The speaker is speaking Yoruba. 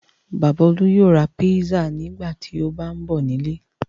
Bàbá Olú yóò ra pizza nígbà tó bá ń bọ̀ nílé.